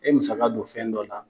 E musaka don fɛn dɔ la.